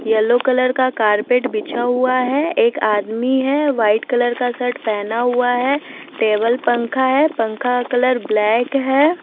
Yellow colour का carpet बिछा हुआ है एक आदमी है व्हाइट कलर का शर्ट पेहना हुआ है टेबल पंखा है पंखा का कलर ब्लैक है।